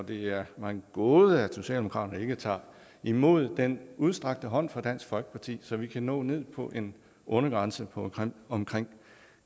det er mig en gåde at socialdemokraterne ikke tager imod den udstrakte hånd fra dansk folkeparti så vi kan nå ned på en undergrænse på omkring